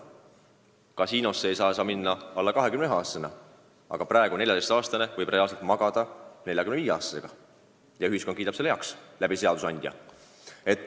Kasiinosse ei saa alla 21-aastasena minna, aga 14-aastane võib reaalselt magada 45-aastasega ja ühiskond kiidab selle läbi seaduseandja heaks.